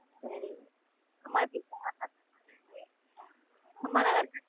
சேரி அம்மா எப்படி இருகாங்க அம்மா நல்லா இருக்காங்க?